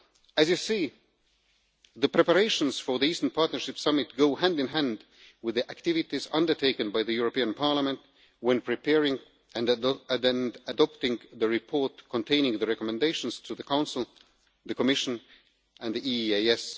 As you see, the preparations for the Eastern Partnership Summit go hand in hand with the activities undertaken by the European Parliament when preparing and adopting the report containing the recommendations to the Council, the Commission and the EEAS.